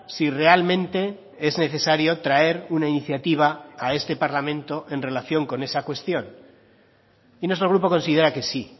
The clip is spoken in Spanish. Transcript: si realmente es necesario traer una iniciativa a este parlamento en relación con esa cuestión y nuestro grupo considera que sí